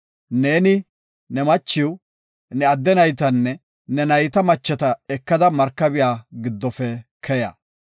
“Neeni, ne machiw, ne adde naytanne ne nayta macheta ekada markabiya giddofe keya.